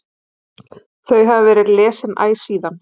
Þau hafa verið lesin æ síðan.